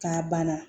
K'a banna